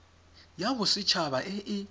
ya boset haba e e